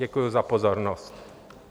Děkuji za pozornost.